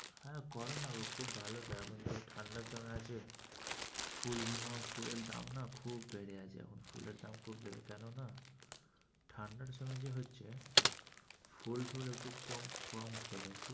হ্যাঁ, করো না গো খুব ভালো চাষ এই ঠান্ডার সময় আছে ফুলগুলো ফুলের দাম না খুব বেড়ে যাচ্ছে এখন ফুলের দাম খুব বেড়ে যাচ্ছে কেননা ঠান্ডার জন্য কি হচ্ছে? ফুল-তুলে একটু কম